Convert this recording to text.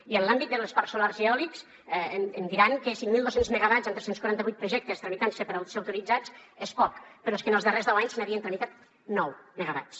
i en l’àmbit dels parcs solars i eòlics em diran que cinc mil dos cents megawatts en tres cents i quaranta vuit projectes tramitant se per ser autoritzats és poc però és que en els darrers deu anys s’havien tramitat nou megawatts